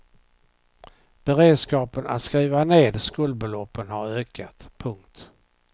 Beredskapen att skriva ned skuldbeloppen har ökat. punkt